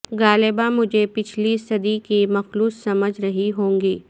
غالبا مجھے پچھلی صدی کی مخلوق سمجھ رہی ہوگی